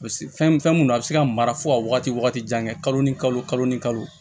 Fɛn mun don a bɛ se ka mara fo ka wagati wagati jan kɛ kalo ni kalo kalo ni kalo